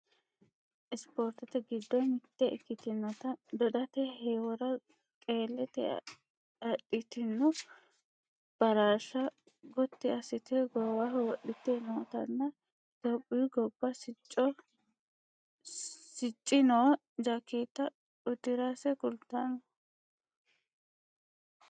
Spoortete giddo mitte ikkitinota dodate heewora qeelte adhitino baraarsha gotti assite goowaho wodhite nootanna Itiyophiyu gobba sicci noo jakkeetta uddirase kultanno